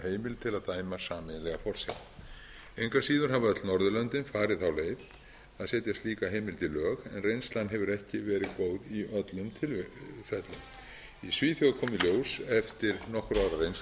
heimild til að dæma sameiginlega forsjá engu að síður hafa öll norðurlöndin farið þá leið að setja slíka heimild í lög en reynslan hefur ekki verið góð í öllum tilfellum í svíþjóð kom í ljós eftir nokkurra ára reynslu að dómstólar dæmdu sameiginlega